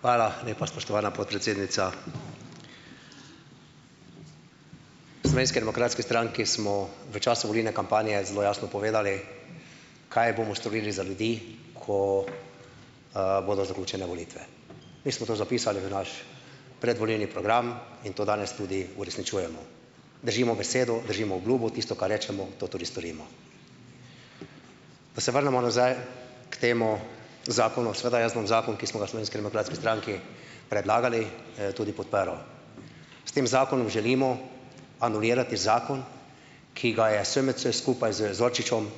Hvala, lepa spoštovana podpredsednica. Slovenski demokratski stranki smo v času volilne kampanje zelo jasno povedali, kaj bomo storili za ljudi, ko, bodo zaključene volitve. In smo to zapisali v naš predvolilni program in to danes tudi uresničujemo. Držimo besedo, držimo obljubo, tisto, kar rečemo, to tudi storimo. Da se vrnemo nazaj k temu zakonu. Seveda jaz bom zakon, ki smo ga v Slovenski demokratski stranki predlagali, tudi podprl. S tem zakonom želimo anulirati zakon, ki ga je SMC skupaj z Zorčičem,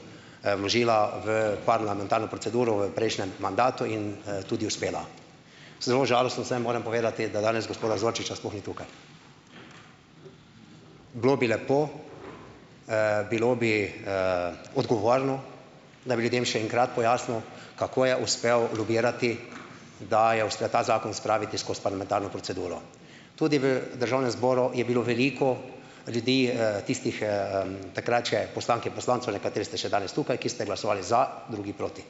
vložila v parlamentarno proceduro v prejšnjem mandatu in, tudi uspela. Zelo žalosten sem, moram povedati, da danes gospoda Zorčiča sploh ni tukaj. Bilo bi lepo, bilo bi, odgovorno, da bi ljudem še enkrat pojasnil, kako je uspel logirati, da je uspel ta zakon spraviti skozi parlamentarno proceduro. Tudi v državnem zboru je bilo veliko ljudi, tistih, takrat še poslank in poslancev, nekateri ste še danes tukaj, ki ste glasovali za, drugi proti.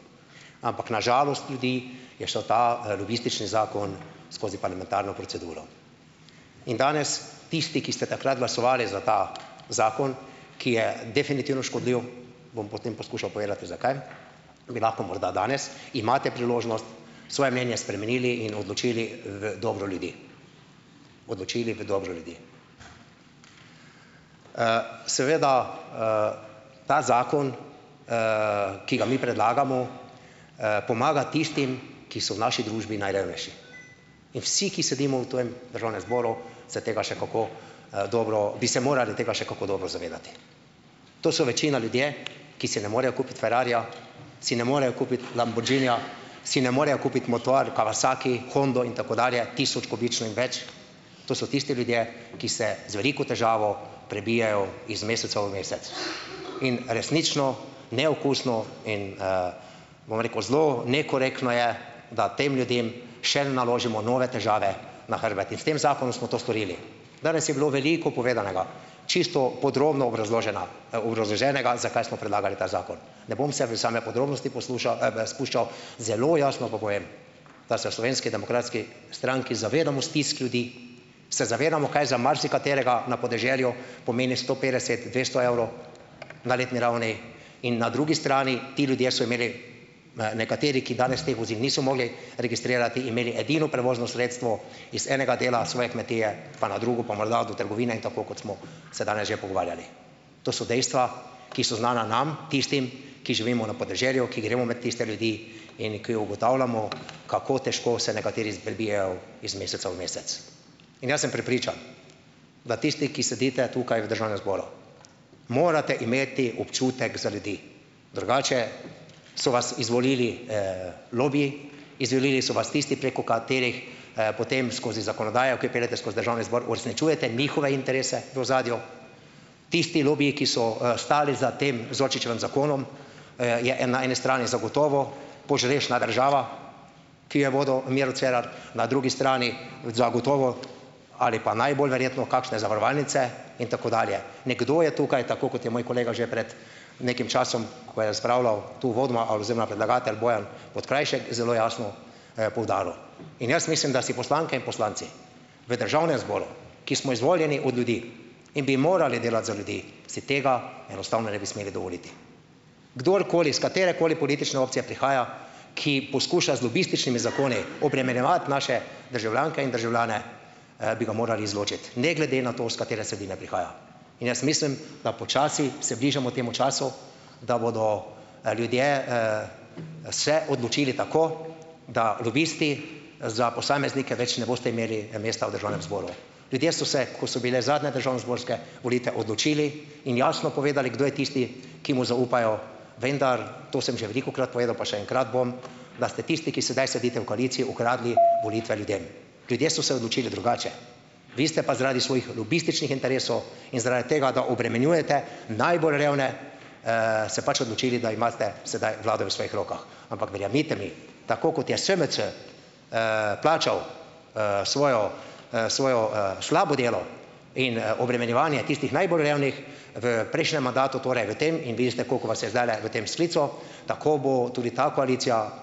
Ampak na žalost ljudi je šel ta, lobistični zakon skozi parlamentarno proceduro. In danes tisti, ki ste takrat glasovali za ta zakon, ki je definitivno škodljiv, bom potem poskušal povedati, zakaj bi lahko morda danes, imate priložnost, svoje mnenje spremenili in odločili v dobro ljudi. Odločili v dobro ljudi. Seveda ta zakon, ki ga mi predlagamo, pomaga tistim, ki so v naši družbi najrevnejši. In vsi, ki sedimo v tujem državnem zboru, se tega še kako, dobro, bi se morali tega še kako dobro zavedati. To so večina ljudje, ki si ne morejo kupiti ferrarija, si ne morejo kupiti lamborghinija, si ne morejo kupiti motor Kawasaki, Hondo in tako dalje, tisočkubično in več. To so tisti ljudje, ki se z veliko težavo prebijajo iz meseca v mesec. In resnično neokusno in, bom rekel, zelo nekorektno je, da tem ljudem še naložimo nove težave na hrbet. In s tem zakonom smo to storili. Danes je bilo veliko povedanega. Čisto podrobno obrazložena, obrazloženega, zakaj smo predlagali ta zakon. Ne bom se v same podrobnosti poslušal, spuščal. Zelo jasno pa povem, da se v Slovenski demokratski stranki zavedamo stisk ljudi, se zavedamo, kaj za marsikaterega na podeželju pomeni sto petdeset, dvesto evrov. Na letni ravni. In na drugi strani ti ljudje so imeli, nekateri, ki danes teh vozil niso mogli registrirati, imeli edino prevozno sredstvo iz enega dela svoje kmetije pa na drugo pa morda do trgovine, in tako, kot smo se danes že pogovarjali. To so dejstva, ki so znana, nam tistim, ki živimo na podeželju, ki gremo med tiste ljudi in ki ugotavljamo, kako težko se nekateri prebijejo iz meseca v mesec. In jaz sem prepričan, da tisti, ki sedite tukaj v državnem zboru, morate imeti občutek za ljudi. Drugače so vas izvolili, lobiji, izvolili so vas tisti, preko katerih, potem skozi zakonodajo, ki peljete skozi državni zbor, uresničujete njihove interese v ozadju. Tisti lobiji, ki so, stali za tem Zorčičevim zakonom, je, na eni strani zagotovo požrešna država, ki jo je vodil Miro Cerar, na drugi strani zagotovo ali pa najbolj verjetno kakšne zavarovalnice in tako dalje. Nekdo je tukaj, tako kot je moj kolega že pred nekim časom, ko je spravljal tu uvodoma oziroma predlagatelj Bojan Podkrajšek zelo jasno, poudaril. In jaz mislim, da si poslanke in poslanci v državnem zboru, ki smo izvoljeni od ljudi in bi morali delati za ljudi, si tega enostavno ne bi smeli dovoliti. Kdorkoli s katerekoli politične opcije prihaja, ki poskuša z lobističnimi zakoni obremenjevati naše državljanke in državljane, bi ga morali izločiti. Ne glede na to, s katere vsebine prihaja. In jaz mislim, da počasi se bližamo temu času, da bodo, ljudje, se odločili tako, da lobisti za posameznike več ne boste imeli mesta v državnem zboru. Ljudje so se, ko so bile zadnje državnozborske volitve, odločili in jasno povedali, kdo je tisti, ki mu zaupajo, vendar to sem že velikokrat povedal, pa še enkrat bom, da ste tisti, ki sedaj sedite v koaliciji, ukradli volitve ljudem. Ljudje so se odločili drugače. Vi ste pa zaradi svojih lobističnih interesov in zaradi tega, da obremenjujete najbolj revne, se pač odločili, da imate sedaj vlado v svojih rokah. Ampak verjemite mi, tako kot je SMC plačal, svojo, svojo, slabo delo in, obremenjevanje tistih najbolj revnih v prejšnjem mandatu, torej v tem in vi ste, koliko vas je zdajle v tem sklicu. Tako bo tudi ta koalicija,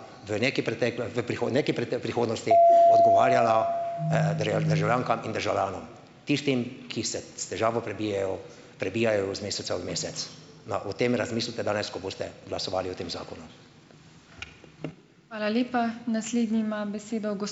državljankam in državljanom, tistim, ki se s težavo prebijejo, prebijajo v meseca v mesec. Na, o tem razmislite danes, ko boste glasovali o tem zakonu.